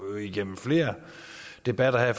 gennem flere debatter her